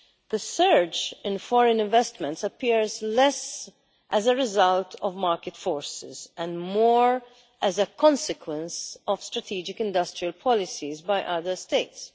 The surge in foreign investment appears less as a result of market forces and more as a consequence of strategic industrial policies by other states.